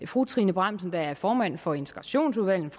fru trine bramsen der er formand for integrationsudvalget